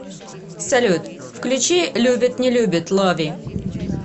салют включи любит не любит лови